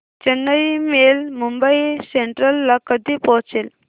Chennai Mail Mumbai Central ला कधी पोहचेल